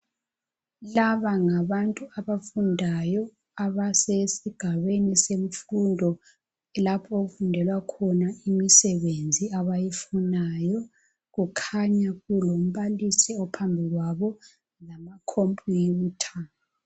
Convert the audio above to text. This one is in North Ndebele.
Laba ngabantu abafundayo abasesigabeni semfundo lapho okufundelwa khona imisebenzi abayifunayo. Kukhanya kulombalisi ophambi kwabo, lamakhompuyutha.